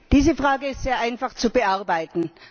Diese Frage ist sehr einfach zu bearbeiten.